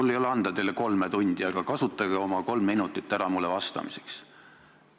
Mul ei ole anda teile kolme tundi, aga kasutage oma kolm minutit ära mulle vastamiseks.